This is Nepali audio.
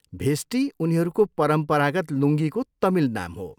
भेस्टी उनीहरूको परम्परागत लुङ्गीको तमिल नाम हो।